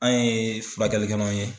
An ye furakɛli kɛlanw ye.